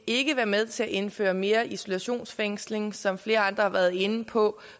ikke være med til at indføre mere isolationsfængsling som flere andre har været inde på